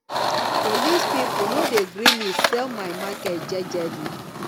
police pipo no dey gree me sell my market jejely